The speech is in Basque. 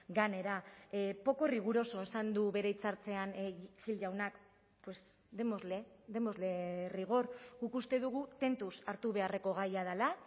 gainera poco riguroso esan du bere hitzartzean gil jaunak pues démosle démosle rigor guk uste dugu tentuz hartu beharreko gaia dela